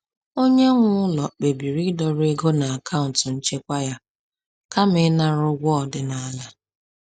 Onye nwe ụlọ kpebiri ịdọrọ ego n’akaụntụ nchekwa ya kama ịṅara ụgwọ ọdịnala.